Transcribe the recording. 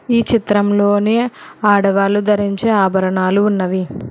ఈ చిత్రంలోని ఆడవాళ్లు ధరించి ఆభరణాలు ఉన్నవి.